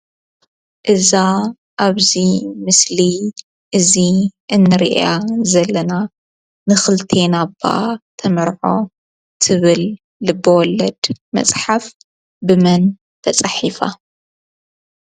እዛ ኣብ እዚ ምስሊ እዚ እንሪኣ ዘለና ንክልተና እባ ተመርዖ እትብል ልበወለድ መፅሓፍ ብመን ተፃሒፋ?